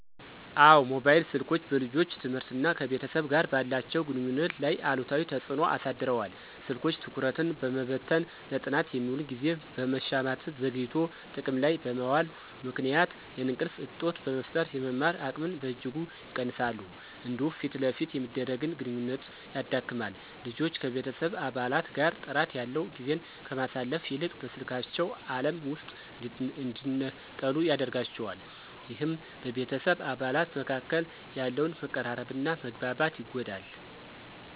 አዎ፣ ሞባይል ስልኮች በልጆች ትምህርትና ከቤተሰብ ጋር ባላቸው ግንኙነት ላይ አሉታዊ ተጽዕኖ አሳድረዋል። ስልኮች ትኩረትን በመበተን፣ ለጥናት የሚውልን ጊዜ በመሻማትና ዘግይቶ ጥቅም ላይ በመዋሉ ምክንያት የእንቅልፍ እጦት በመፍጠር የመማር አቅምን በእጅጉ ይቀንሳሉ። እንዲሁም ፊት ለፊት የሚደረግን ግንኙነት ያዳክማል። ልጆች ከቤተሰብ አባላት ጋር ጥራት ያለው ጊዜን ከማሳለፍ ይልቅ በስልካቸው ዓለም ውስጥ እንዲነጠሉ ያደርጋቸዋል። ይህም በቤተሰብ አባላት መካከል ያለውን መቀራረብና መግባባት ይጎዳል።